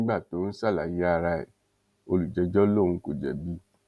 nígbà tó ń ń ṣàlàyé ara ẹ olùjẹjọ lòun kò jẹbi